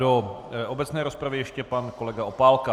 Do obecné rozpravy ještě pan kolega Opálka.